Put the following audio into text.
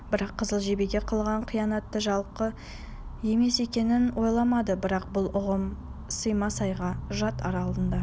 бірақ қызыл жебеге қылған қиянаты жалқы емес екенін ойламады бірақ бұл ұғым саймасайға жат ар алдында